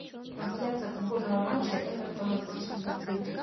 трансляция футбольного матча эвертона против ливерпуля